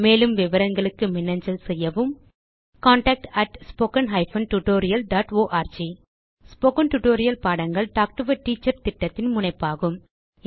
மேலும் விவரங்களுக்கு மின்னஞ்சல் செய்யவும் contactspoken tutorialorg ஸ்போகன் டுடோரியல் பாடங்கள் டாக் டு எ டீச்சர் திட்டத்தின் முனைப்பாகும்